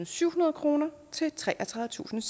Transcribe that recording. syvhundrede kroner til treogtredivetusinde